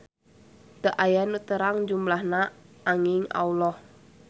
Teu aya nu terang jumlahna anging Alloh.